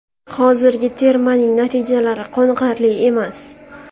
Hozirgi termaning natijalari qoniqarli emas.